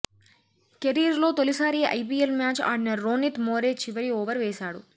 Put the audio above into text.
కెరీర్లో తొలిసారి IPL match ఆడిన రోనిత్ మోరే చివరి ఓవర్ వేశాడు